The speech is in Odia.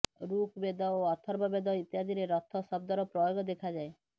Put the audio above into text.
ଋକ୍ ବେଦ ଓ ଅଥର୍ବ ବେଦ ଇତ୍ୟାଦିରେ ରଥ ଶବ୍ଦର ପ୍ରୟୋଗ ଦେଖାଯାଏ